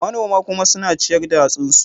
Manoman kuma suna ciyar da hatsinsu.